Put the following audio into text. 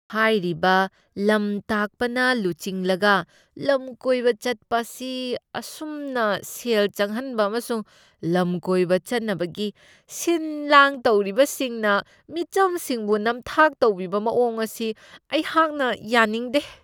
ꯍꯥꯏꯔꯤꯕ ꯂꯝꯇꯥꯛꯄꯅ ꯂꯨꯆꯤꯡꯂꯒ ꯂꯝꯀꯣꯏꯕ ꯆꯠꯄ ꯑꯁꯤ ꯑꯁꯨꯝꯅ ꯁꯦꯜ ꯆꯪꯍꯟꯕ ꯑꯃꯁꯨꯡ ꯂꯝꯀꯣꯏꯕ ꯆꯠꯅꯕꯒꯤ ꯁꯤꯟ ꯂꯥꯡ ꯇꯧꯔꯤꯕꯁꯤꯡꯅ ꯃꯤꯆꯝꯁꯤꯡꯕꯨ ꯅꯝꯊꯥꯛ ꯇꯧꯕꯤꯕ ꯃꯑꯣꯡ ꯑꯁꯤ ꯑꯩꯍꯥꯛꯅ ꯌꯥꯅꯤꯡꯗꯦ꯫